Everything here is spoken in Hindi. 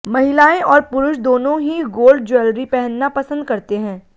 महिलाएं और पुरुष दोनों ही गोल्ड ज्वेलरी पहनना पसंद करते हैं